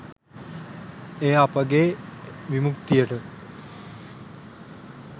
එය අපගේ විමුක්තියට